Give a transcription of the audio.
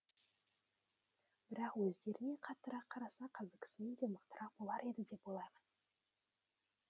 бірақ өздеріне қаттырақ қараса қазіргісінен де мықтырақ болар еді деп ойлаймын